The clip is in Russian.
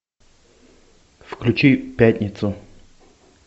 включи пятницу